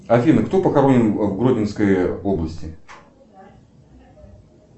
афина кто похоронен в гродненской области